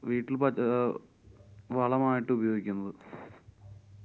വീട്ടില്‍ പ~ അഹ് വളമായിട്ട് ഉപയോഗിക്കുന്നത്.